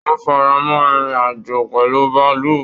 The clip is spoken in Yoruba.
Wọn faramọ irin-ajo pẹlú bàálù.